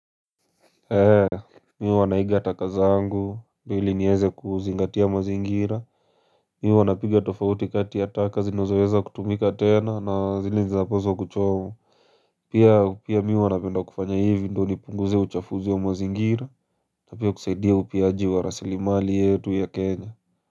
Ee mi huwa naiga taka zangu ili niweze kuzingatia mazingira mi huwa napiga tofauti kati ya taka zinozaweza kutumika tena na zile zinapaswa kuchomwa pia pia mi huwa napenda kufanya hivi ndio nipunguze uchafuzi wa mazingira na pia kusaidia upiaji wa rasilimali yetu ya kenya.